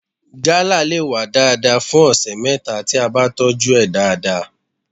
Gala le wá dáadáa fún ọ̀sẹ̀ mẹ́ta tí a bá tọ́jú ẹ̀ dáadáa.